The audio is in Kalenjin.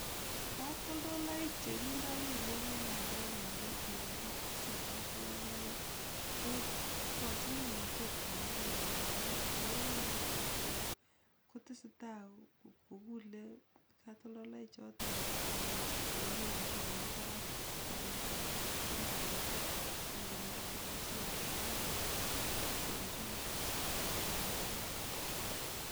Katoltoloik chekindo kelyek en pandeek yon kitese katoltoloik ko igochin kimnatet pandeek amun ingoropon ak kochut peek kotesetaa kogule katoltoloichoton en kimnatet nemi parak pandeek kopun tigitik ak komuch kogochi pandechotok koruryo misiing' en oret nemi parak.